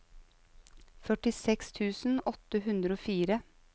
førtiseks tusen åtte hundre og fire